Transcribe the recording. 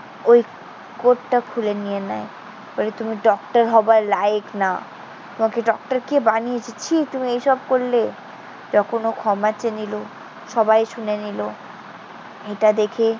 ওই কোটটা খুলে নিয়ে নেয়। বলে, তুমি ডক্টর হবার লায়েক না। তোমাকে ডক্টর কে বানিয়েছে? ছিঃ, তুমি এসব করলে। তখন ও ক্ষমা চেয়ে নিলো। সবাই শুনে নিলো। এটা দেখে